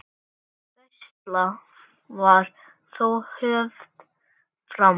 Gæsla var þó höfð áfram.